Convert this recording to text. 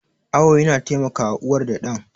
Awo yana taimakawa uwar da ɗan.